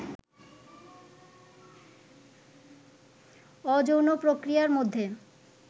অযৌন প্রক্রিয়ার মধ্যে